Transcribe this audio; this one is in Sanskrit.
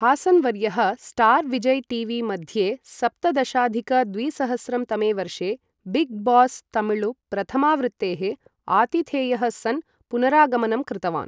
हासन् वर्यः स्टार् विजय् टीवी मध्ये, सप्तदशाधिक द्विसहस्रं तमे वर्षे बिग् बॉस् तमिळु प्रथमावृत्तेः आतिथेयः सन् पुनरागमनं कृतवान्।